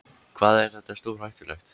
Hvað er þetta stórhættulegt?